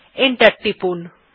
enter টিপুন